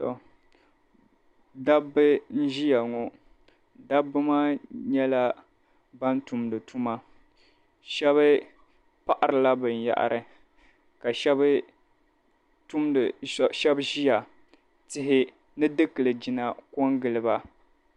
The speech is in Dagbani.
To dabb' n-ʒiya ŋo dabba maa nyɛla ban tumdi tuma shɛb' paɣirila binyɛhiri ka shɛb' tumdi shɛb' ʒiya tihi ni dikilgina ko n-gili ba.